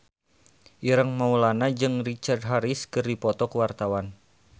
Ireng Maulana jeung Richard Harris keur dipoto ku wartawan